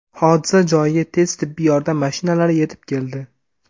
Hodisa joyiga tez tibbiy yordam mashinalari yetib keldi.